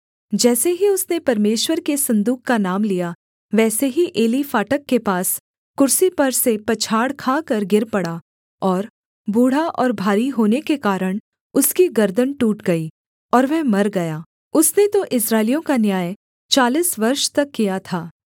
जैसे ही उसने परमेश्वर के सन्दूक का नाम लिया वैसे ही एली फाटक के पास कुर्सी पर से पछाड़ खाकर गिर पड़ा और बूढ़ा और भारी होने के कारण उसकी गर्दन टूट गई और वह मर गया उसने तो इस्राएलियों का न्याय चालीस वर्ष तक किया था